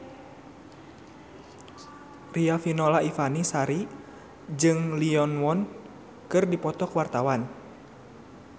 Riafinola Ifani Sari jeung Lee Yo Won keur dipoto ku wartawan